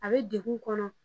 A be dugu kɔnɔ